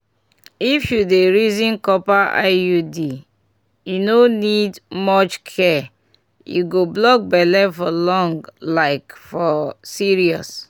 if you dey reason copper iud e no need much care e go block belle for long like for serious!